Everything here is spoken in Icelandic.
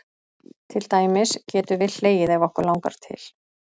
Til dæmis getum við hlegið ef okkur langar til.